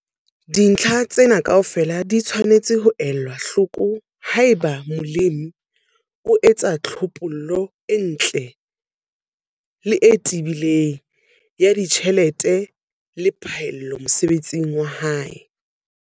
Dintlha tsena kaofela di tshwanetse ho elwa hloko haeba molemi a etsa tlhophollo e ntle le e tebileng ya ditjhelete le phaello mosebetsing wa hae.